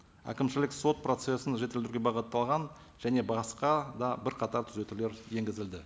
әкімшілік сот процессін жетілдіруге бағытталған және басқа да бірқатар түзетулер енгізілді